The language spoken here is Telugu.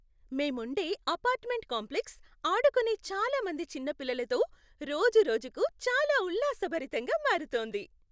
మేముండే అపార్ట్మెంట్ కాంప్లెక్స్ ఆడుకునే చాలా మంది చిన్న పిల్లలతో రోజురోజుకు చాలా ఉల్లాసభరితంగా మారుతోంది.